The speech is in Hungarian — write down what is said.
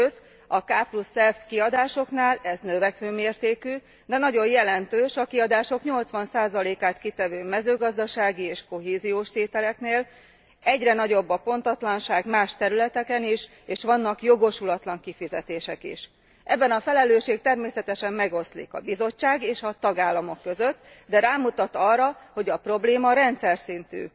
Sőt a kf kiadásoknál ez növekvő mértékű, de nagyon jelentős, a kiadások 80 át kitevő mezőgazdasági és kohéziós tételéknél egyre nagyobb a pontatlanság más területeken is, és vannak jogosulatlan kifizetések is. Ebben a felelősség természetesen megoszlik a Bizottság és a tagállamok között, de rámutat arra, hogy a probléma rendszerszintű.